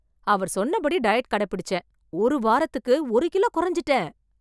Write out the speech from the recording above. அவர் சொன்னபடி டயட் கடைபிடிச்சேன். ஒரு வாரத்துக்கு ஒரு கிலோ கொறஞ்சிட்டேன்.